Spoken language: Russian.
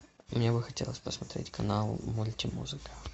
мне бы хотелось посмотреть канал мультимузыка